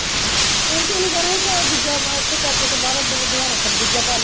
ਇਹਣੂ ਕੇਹਣਾਂ ਸਿ ਕੇ ਦੂਜਾ ਚਾਚੇ ਤੋ ਬਾਅਦ ਹਦਵਾਣਾ ਖਰਬੂਜਾ ਪਾ ਲੇ